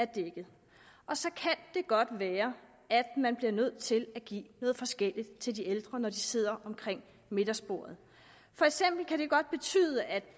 dækket og så kan det godt være at man bliver nødt til at give noget forskelligt til de ældre når de sidder omkring middagsbordet for eksempel kan det godt betyde at